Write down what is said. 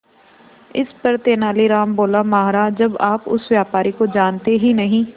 इस पर तेनालीराम बोला महाराज जब आप उस व्यापारी को जानते ही नहीं